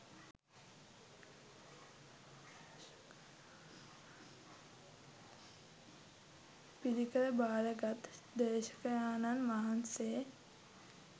පිරිකර භාරගත් දේශකයාණන් වහන්සේ,